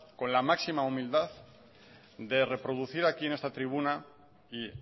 con la máxima humildad de reproducir aquí en esta tribuna y